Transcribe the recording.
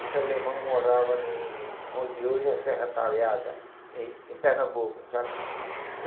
Esse alemão morava em onde hoje é Serra Talhada, em em Pernambuco, sabe?